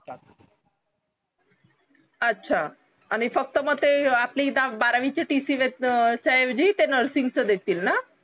अच्छा आणि फक्त मग ते आपली बारावीची tc च्या ऐवजी ते nursing च देतील ना